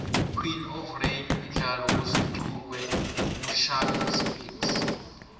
queen of rain mdlalo osunqukwe nqushhack speex